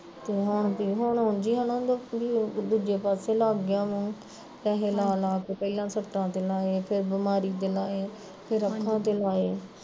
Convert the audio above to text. ਤੇ ਹੁਣ ਉਂਜ ਈ ਉਂਜ ਈ ਉਹਨਾਂ ਦਾ ਦੂਜੇ ਪਾਸੇ ਲੱਗ ਗਿਆ ਮੂਹ ਪੈਸੇ ਲਾ ਲਾ ਕੇ ਪਹਿਲਾਂ ਸੱਟਾਂ ਦਿੰਦਾ ਐ, ਫਿਰ ਬਿਮਾਰੀ ਤੇ ਲਾਏ, ਫਿਰ ਅੱਖਾਂ ਤੇ ਲਾਏ